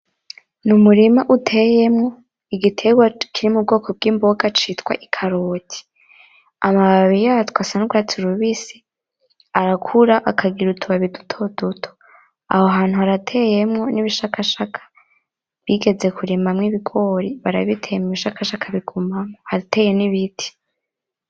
N'umurima uteyemwo igiterwa kiri mubwoko bw'imboga citwa ikaroti. Amababi yatwo asa nurwatsi rubisi. Arakura akagira utubabi duto duto. Aho hantu harateyemwo nibishakashaka bigeze kurimamwo ibigori, barabitema, ibishakashaka bigumamwo. Harateye nibiti.